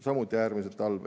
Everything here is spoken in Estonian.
Samuti äärmiselt halb.